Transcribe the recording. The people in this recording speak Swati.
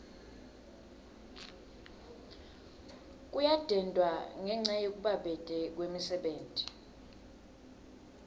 kuyadendwa ngenca yekubabete kwemisebenti